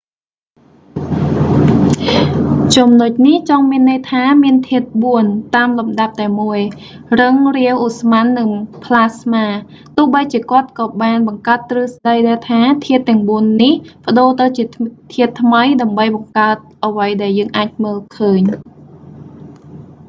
ចំណុចនេះចង់មានន័យថា មានធាតុបួន តាមលំដាប់តែមួយ៖ រឹង រាវ ឧស្ម័ន និងផ្លាស្មា ទោះបីជាគាត់ក៏បានបង្កើតទ្រឹស្តីដែរថា ធាតុទាំងបួននេះប្តូរទៅជាធាតុថ្មី ដើម្បីបង្កើតអ្វីដែលយើងអាចមើលឃើញ។